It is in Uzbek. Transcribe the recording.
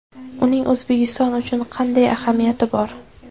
Uning O‘zbekiston uchun qanday ahamiyati bor?